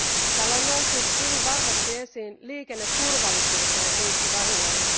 Täällä on noussut hyvin vahvasti esiin liikenneturvallisuuteen liittyvä huoli.